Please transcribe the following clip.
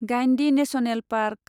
Guindy national park